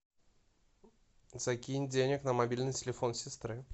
закинь денег на мобильный телефон сестры